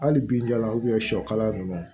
Hali bi jala sɔ kala nunnu